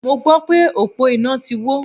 Mo gbọ́ pé òpó iná ti wó.